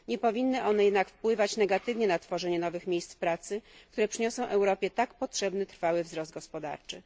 Nie powinny one jednak wpływać negatywnie na tworzenie nowych miejsc pracy, które przyniosą Europie tak potrzebny trwały wzrost gospodarczy.